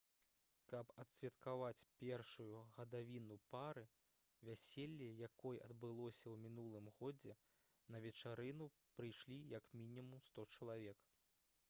каб адсвяткаваць першую гадавіну пары вяселле якой адбылося ў мінулым годзе на вечарыну прыйшлі як мінімум 100 чалавек